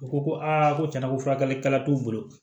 U ko ko aa ko tiɲɛna ko furakɛlikɛla t'u bolo